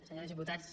senyors diputats